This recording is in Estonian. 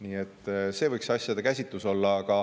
Nii et selline võiks nende asjade käsitlus olla.